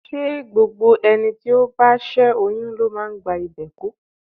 Ṣé gbogbo ẹni tó bá ṣé oyún ló máa ń gba ìbè kú?